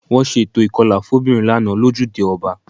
Wọ́n ṣe eto ìkọlà fóbìnrin lánàá lójúde ọba